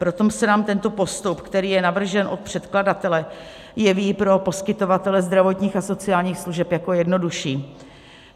Proto se nám tento postup, který je navržen od předkladatele, jeví pro poskytovatele zdravotních a sociálních služeb jako jednodušší.